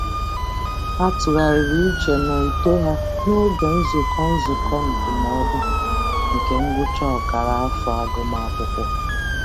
Ha tụgharịrị uche n'uto ha n'oge nzukọ nzukọ ndụmọdụ nke ngwụcha ọkara afọ agụmakwụkwọ.